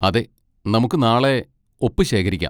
അതെ, നമുക്ക് നാളെ ഒപ്പ് ശേഖരിക്കാം.